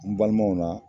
N balimaw na